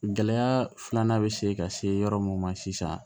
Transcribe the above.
Gɛlɛya filanan bɛ se ka se yɔrɔ mun ma sisan